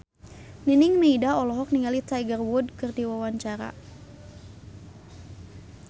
Nining Meida olohok ningali Tiger Wood keur diwawancara